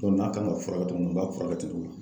n'a kan ka fura kɛ cogo min o b'a fura kɛ ten.